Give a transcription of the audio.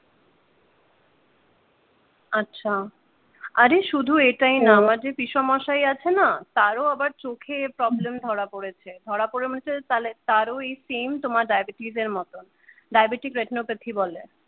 আহ আরে শুধু এটাই না আমার যে পিসেমশাই আছে না তারও আবার চোখে প্রবলেম ধরা পরেছে ধরা পড়েছে তাহলে তারও এই সেম তোমার এই diabetes এর মত diabetic retinopathy বলে।